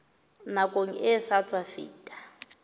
nakong e sa tswa feta